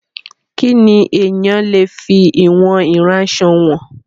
Kí ni èèyàn le fi ìwọ̀n aránsọ wọ̀n?